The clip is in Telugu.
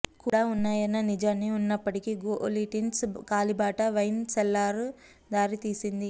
కూడా ఉన్నాయన్న నిజాన్ని ఉన్నప్పటికీ గోలిట్సిన్ కాలిబాట వైన్ సెల్లార్ దారితీసింది